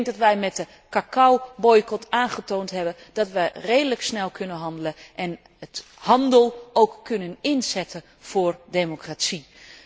Ik denk dat wij met de cacaoboycot aangetoond hebben dat wij redelijk snel kunnen handelen en de handel ook kunnen inzetten voor democratie.